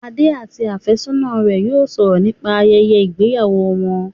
Adé àti àfẹ́sọ́nà rẹ̀ yóò sọ̀rọ̀ nípa ayẹyẹ ìgbéyàwó wọn